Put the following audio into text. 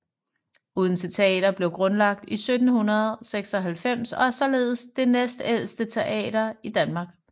Odense Teater blev grundlagt i 1796 og er således den næstældste teater i Danmark